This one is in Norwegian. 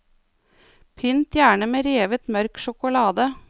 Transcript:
Pynt gjerne med revet mørk sjokolade.